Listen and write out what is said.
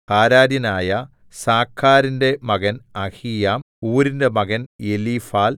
ഹാരാര്യനായ സാഖാരിന്റെ മകൻ അഹീയാം ഊരിന്റെ മകൻ എലീഫാൽ